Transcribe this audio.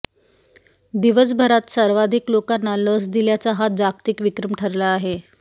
दिवसभरात सर्वाधिक लोकांना लस दिल्याचा हा जागतिक विक्रम ठरला आहे